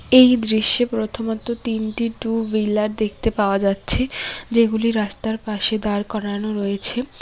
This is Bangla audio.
এই দৃশ্যে প্রথমত তিনটি টু হুইলার দেখতে পাওয়া যাচ্ছে যেগুলি রাস্তার পাশে দাঁড় করানো রয়েছে।